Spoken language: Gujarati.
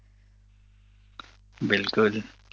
બિલકુલ